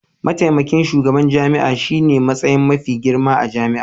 Mataimakin shugaban jami'a shine matsayi mafi girma a jami'a.